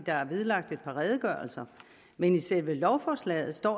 er vedlagt et par redegørelser men i selve lovforslaget står